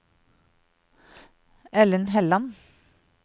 Ellen Helland